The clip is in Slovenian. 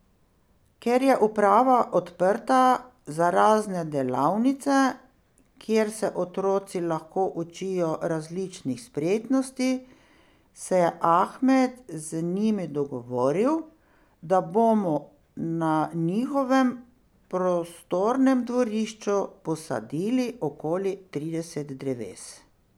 Ker je uprava odprta za razne delavnice, kjer se otroci lahko učijo različnih spretnosti, se je Ahmed z njimi dogovoril, da bomo na njihovem prostornem dvorišču posadili okoli trideset dreves.